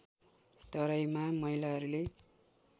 तराईमा महिलाहरूले